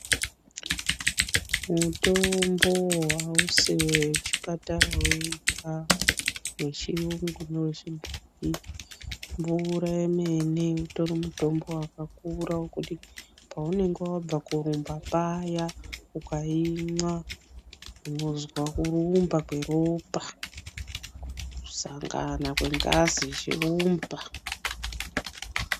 Mutombo awusi wechipatara wega, wechiyungu newechibhoyi, mvura yemene utori mutombo wakakura wokuti paunenge wabva korumba paya ukayimwa, unozwa kurumba kweropa, kusangana kwengazi ichirumba.